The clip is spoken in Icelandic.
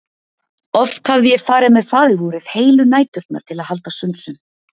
Oft hafði ég farið með Faðirvorið heilu næturnar til að halda sönsum.